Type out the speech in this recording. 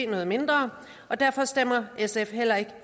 noget mindre derfor stemmer sf heller ikke